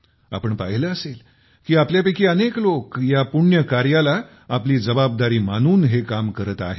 आपण पाहिले असेल की आपल्यापैकी अनेक लोक या पुण्य कामाला आपली जबाबदारी मानून हे काम करत आहेत